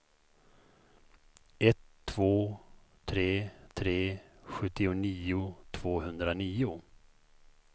ett två tre tre sjuttionio tvåhundranio